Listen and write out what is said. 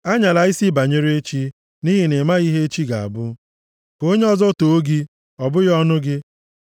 Anyala isi banyere echi, nʼihi na ị maghị ihe echi ga-abụ. + 27:1 \+xt Luk 12:19-21; Jem 4:13-16\+xt*